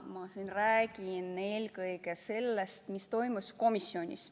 Ma räägin täna siin eelkõige sellest, mis toimus komisjonis.